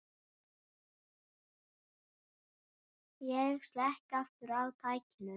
Ég slekk aftur á tækinu.